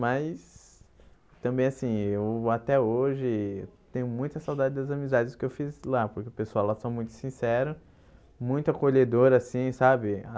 Mas, também assim, eu até hoje tenho muita saudade das amizades que eu fiz lá, porque o pessoal lá são muito sincero, muito acolhedor assim, sabe?